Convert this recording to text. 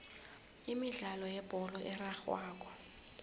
imidlalo yebholo erarhwako